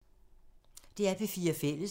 DR P4 Fælles